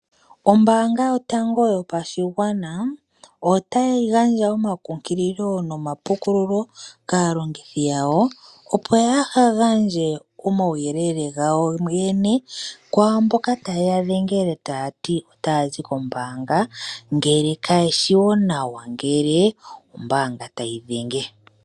Ombaanga yotango yopashigwana otayi gandja omakunkililo nomapukululo kaalongithi yawo opo yaaha gandje omauyelele gawo yene kwaamboka taye ya dhengele taati otaya zi koombaanga, ngele kaye shiwo nawa ngele ombaanga tayi dhenge.